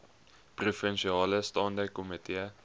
provinsiale staande komitee